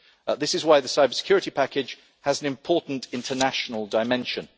This is why the cybersecurity package has an important international dimension.